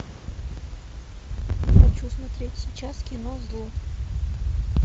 хочу смотреть сейчас кино зло